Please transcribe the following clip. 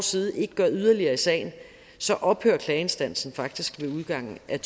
side ikke gør yderligere i sagen så ophører klageinstansen faktisk ved udgangen af